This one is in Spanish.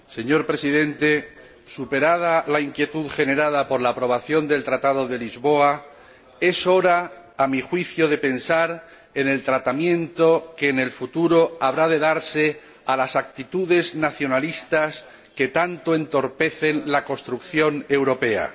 Señor Presidente, superada la inquietud generada por la aprobación del Tratado de Lisboa, es hora, a mi juicio, de pensar en el tratamiento que en el futuro habrá de darse a las actitudes nacionalistas que tanto entorpecen la construcción europea.